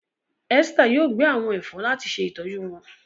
Esther yóò gbẹ àwọn èfó láti se ìtọjú wón.